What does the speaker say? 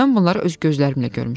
Mən bunları öz gözlərimlə görmüşəm.